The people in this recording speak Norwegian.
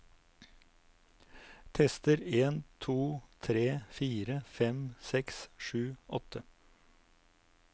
Tester en to tre fire fem seks sju åtte